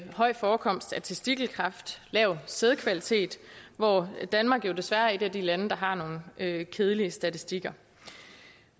høj forekomst af testikelkræft og lav sædkvalitet hvor danmark jo desværre er et af de lande der har nogle kedelige statistikker